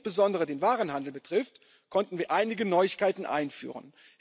Was insbesondere den Warenhandel betrifft, konnten wir einige Neuigkeiten einführen.